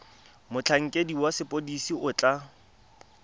motlhankedi wa sepodisi o tla